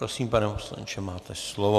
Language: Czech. Prosím, pane poslanče, máte slovo.